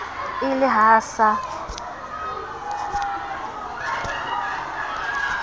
e le ha a sa